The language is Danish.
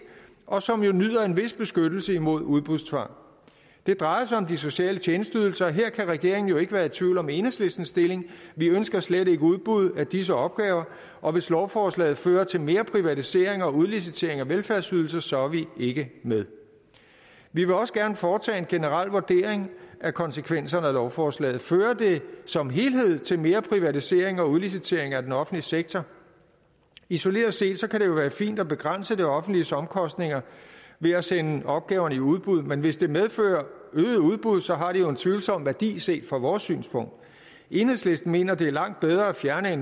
og som jo nyder en vis beskyttelse mod udbudstvang det drejer sig om de sociale tjenesteydelser og her kan regeringen jo ikke være i tvivl om enhedslistens stilling vi ønsker slet ikke udbud af disse opgaver og hvis lovforslaget fører til mere privatisering og udlicitering af velfærdsydelser så er vi ikke med vi vil også gerne foretage en generel vurdering af konsekvenserne af lovforslaget fører det som helhed til mere privatisering og udlicitering af den offentlige sektor isoleret set kan det jo være fint at begrænse det offentliges omkostninger ved at sende opgaverne i udbud men hvis det medfører øgede udbud så har det jo en tvivlsom værdi set fra vores synspunkt enhedslisten mener at det er langt bedre at fjerne